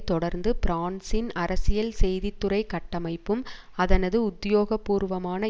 தொடர்ந்து பிரான்சின் அரசியல் செய்தி துறை கட்டமைப்பும் அதனது உத்தியோகபூர்வமான